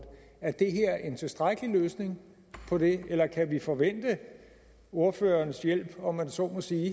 er det her er en tilstrækkelig løsning på det eller kan vi forvente ordførerens hjælp om jeg så må sige